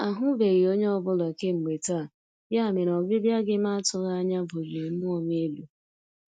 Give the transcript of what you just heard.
Ahụbeghị onye ọ bụla kemgbe taa, ya mere ọbịbịa gị ma atụghị anya buliri mmụọ m elu.